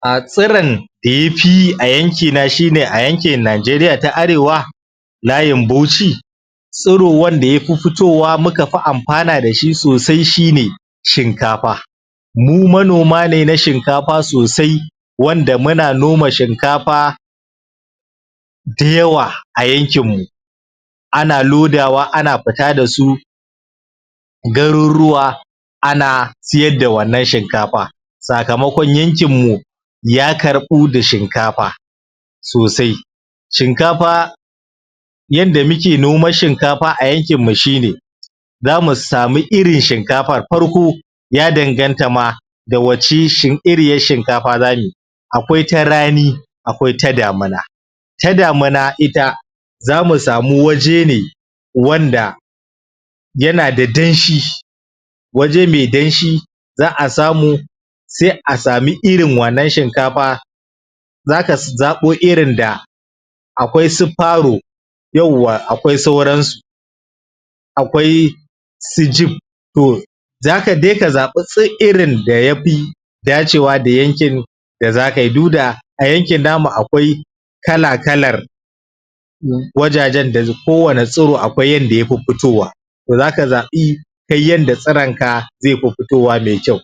A tsirin da ya fi yi a yankina shi ne a yankin Najeriya ta Arewa layin Bauchi tsiro wanda ya fi fitowa muka fi amfana da shi sosai shi ne shinkafa mu manoma ne na shinkafa sosai wanda muna noma shinkafa dayawa a yankinmu ana lodawa ana fita da su garuruwa ana siyar da wannan shinkafa sakamakon yankinmu ya karɓu da shinkafa sosai shinkafa yadda muke noman shinkafa a yankinmu shi ne za mu samu irin shinkafar farko ya danganta ma da wace iriyar shinkafa za mu yi akwai ta rani akwai ta damina ta damina ita za mu samu waje ne wanda yana da danshi waje mai danshi za a samuj sai a samu irin wannan shinkafa za ka zaɓo irin da akwai su faro yauwa akwai sauransu akwai su jib? sai ka zaɓi irin da ya fi dacewa da yankin da zaka yi du da a yankin namu akwai kala-kalar umm wajajen kowane tsiro akwai yanda ya fi fitowa to zaka zaɓi kai yanda tsironka zai fi fitowa mai kyau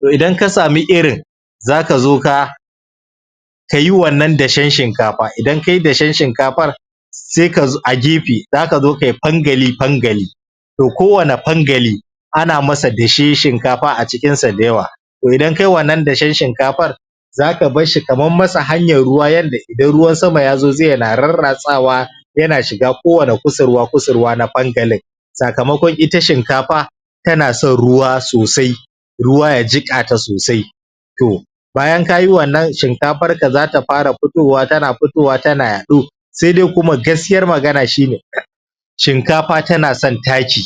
to idan ka samu irin za ka zo ka ka yi wannan dashen shinkafa idan ka yi dashen shhinkafar sai ka zo a gefe za ka zo ka yi fangali-fangali to kowane fangali ana masa daashen shinkafa a cikin sa dayawa to idan ka yi wannan dashen shinkafar zaka bar shi ka mam masa hanyar ruwa yanda idan ruwan sama ya zo zai na rarratsawa yana shiga kowane kusurwa-kusurwa na fangalin sakamakon ita shinkafa tana son ruwa sosai ruwa ya jiƙa ta sosai to bayan ka yi wannan shinkafarka za ta fara fitowa tana fitowa tana yaɗo sai dai kuma gaskiyar magana shi? shinkafa tana son taki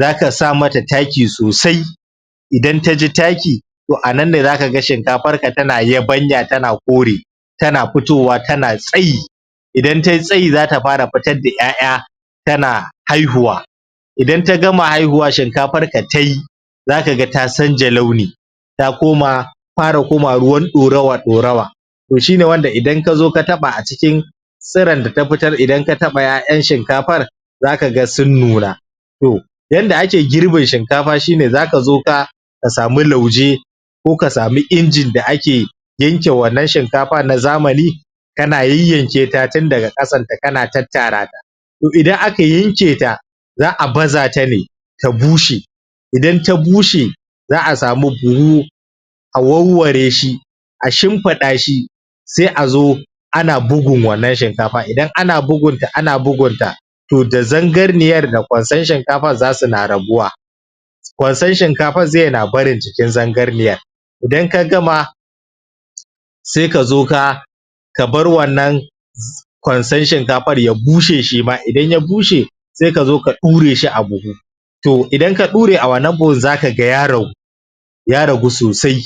zaka sa mata taki sosai idan ta ji taki to a nan ne zaka ga shinkafarka tana yabanya tana kore tana fitowa tana tsayi idan ta yi tsayi zata fara fitar da ƴaƴa ta na haihuwa idan ta gama haihuwa shinkafarka ta yi za ka ga ta canja launi ta koma ta fara komawa ruwan ɗorawa-ɗorawa to shi ne wanda idan ka zo ka taɓa a cikin tsiron da ta fitar idan ka taɓa ƴaƴan shinkafar zaka ga sun nuna to yanda ake girbin shinkafa shi ne za ka zo ka ka samu lauje ko samu injin da ake yanke wannan shinkafa na zamani kana yayyanke ta tun daga ƙasan ta kana tattara ta to idan aka yanke ta za a baza ta ne ta bushe idan ta bushe za a samu buhu a warware shi a shimfiɗa shi sai a zo ana bugun wannan shinkafa idan ana bugun ta ana bugunta to da zangarniyar da kwanson shinkafar za su na rabuwa kwanson shinkafar zai na barin jikin zangarniyar idan ka gama saik ka zo ka ka bar wannan? kwanson shinkafar ya bushe shi ma idan ya bushe sai ka zo ka ɗure shi a buhu to idan ka ɗure a wannan buhun za ka ga ya ragu ya ragu sosai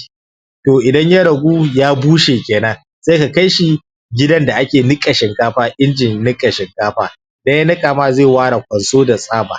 to idan ya ragu ya bushe kenan sai ka kai shi gidan da ake niƙa shinkafa injin niƙa shinkafa idan ya niƙa ma zai ware kwanso da tsaɓa